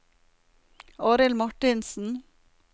Arild Martinsen